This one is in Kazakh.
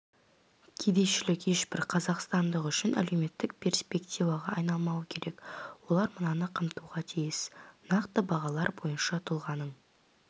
кедейшілік ешбір қазақстандық үшін әлеуметтік перспективаға айналмауы керек олар мынаны қамтуға тиіс нақты бағалар бойынша тұлғаның